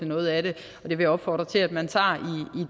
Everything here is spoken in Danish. noget af det så jeg vil opfordre til at man tager